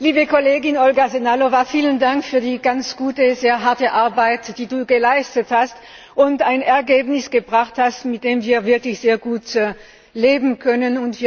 Liebe Kollegin Olga Sehnalová, vielen Dank für die ganz gute, sehr harte Arbeit, die du geleistet hast und mit der du ein Ergebnis gebracht hast, mit dem wir wirklich sehr gut leben können.